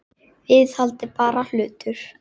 Viðhald er bara hlutur.